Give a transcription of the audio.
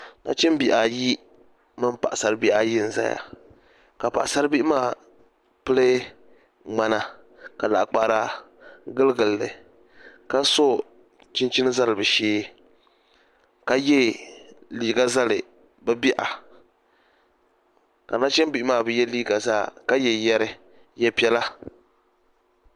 Nachinbihi ayi mini paɣa sari bihi ayi n ʒɛya ka paɣasari bihi maa pili ŋmana ka laɣakpahara giligilli ka so chinchini zali bi shee ka yɛ liiga zali bi biha ka nachimbihi maa bi yɛ liiga zaa ka yɛ yɛri yɛ piɛla